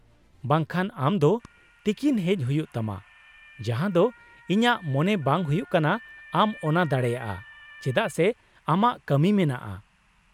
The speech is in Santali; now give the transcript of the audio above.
-ᱵᱟᱝ ᱠᱷᱟᱱ ᱟᱢ ᱫᱚ ᱛᱤᱠᱤᱱ ᱦᱮᱡ ᱦᱩᱭᱩᱜ ᱛᱟᱢᱟ, ᱡᱟᱦᱟᱸ ᱫᱚ ᱤᱧᱟᱹᱜ ᱢᱚᱱᱮ ᱵᱟᱝ ᱦᱩᱭᱩᱜ ᱠᱟᱱᱟ ᱟᱢ ᱚᱱᱟ ᱫᱟᱲᱮᱭᱟᱜᱼᱟ, ᱪᱮᱫᱟᱜ ᱥᱮ ᱟᱢᱟᱜ ᱠᱟᱹᱢᱤ ᱢᱮᱱᱟᱜᱼᱟ ᱾